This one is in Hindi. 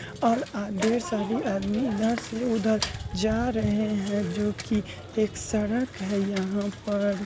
और अ ढेर सारे आदमी इधर से उधर जा रहे हैं जोकि एक सड़क है यहाँ पर।